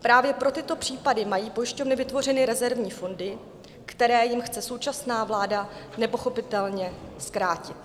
Právě pro tyto případy mají pojišťovny vytvořeny rezervní fondy, které jim chce současná vláda nepochopitelně zkrátit.